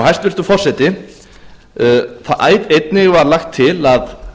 hæstvirtur forseti einnig var lagt til að